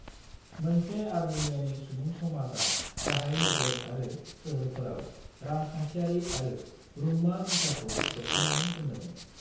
मोनसे आर्मेनियानि सुबुं समाजा गाहाय नोगोर आरो सोहोरफोराव रां-खान्थियारि आरो रुंमा बिथाखौ दबथायनानै दोनदोंमोन।